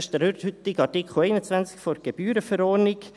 Das ist der heutige Artikel 21 der GebVN.